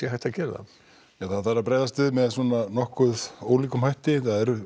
að gera það það þarf að bregðast við með ólíkum hætti það eru